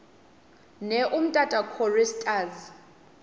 ne umtata choristers